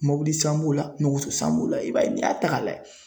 Mobili san b'o la nɔgɔso san b'o la i b'a ye n'i y'a ta k'a layɛ